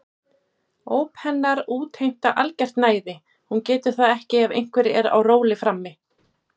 Óp hennar útheimta algert næði, hún getur það ekki ef einhver er á róli frammi.